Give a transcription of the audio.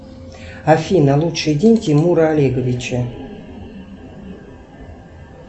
афина лучший день тимура олеговича